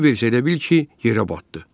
Kiber isə elə bil ki, yerə batdı.